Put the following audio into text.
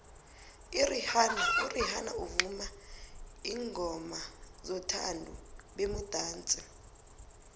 irihanna uvuma iingomazothandu bemudatsi